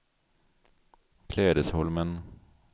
Klädesholmen